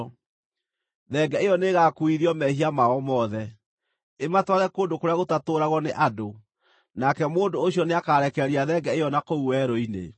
Thenge ĩyo nĩĩgakuuithio mehia mao mothe, ĩmatware kũndũ kũrĩa gũtatũũragwo nĩ Andũ; nake mũndũ ũcio nĩakarekereria thenge ĩyo na kũu werũ-inĩ.